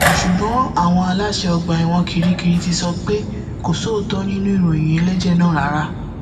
ṣùgbọn àwọn aláṣẹ ọgbà ẹwọn kirikiri ti sọ pé kò sóòótọ nínú ìròyìn ẹlẹjẹ náà rárá